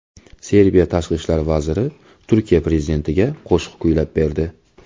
Serbiya tashqi ishlar vaziri Turkiya prezidentiga qo‘shiq kuylab berdi .